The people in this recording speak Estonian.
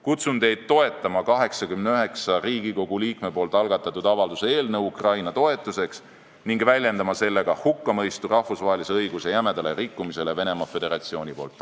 Kutsun teid toetama 89 Riigikogu liikme algatatud avalduse eelnõu Ukraina toetuseks ning väljendama sellega hukkamõistu rahvusvahelise õiguse jämedale rikkumisele Venemaa Föderatsiooni poolt.